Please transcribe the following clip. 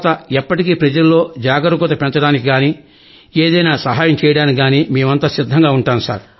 ఎప్పటికీ ప్రజల్లో జాగరూకత పెంచడానికి గానీ ఏదైన సహాయం చేయడానికి గానీ మేమంతా సిద్ధంగా ఉంటాం సర్